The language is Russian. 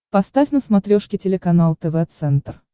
поставь на смотрешке телеканал тв центр